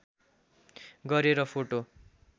गरेर फोटो